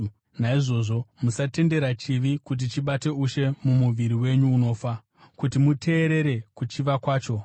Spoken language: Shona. Naizvozvo musatendera chivi kuti chibate ushe mumuviri wenyu unofa, kuti muteerere kuchiva kwacho.